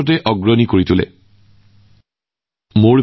ক্ৰীড়াৰ প্ৰতি থকা এই স্বভাৱে যিকোনো দেশকে ক্ৰীড়া জগতৰ ৰজা কৰি তোলে